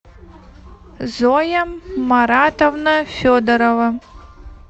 зоя маратовна федорова